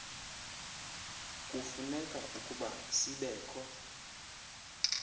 kufuneke ukuba sibekho